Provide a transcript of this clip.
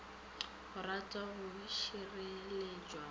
go ratwa go šireletšwa go